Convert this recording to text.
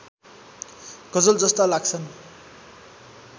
गजलजस्ता लाग्छन्